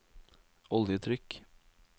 oljetrykk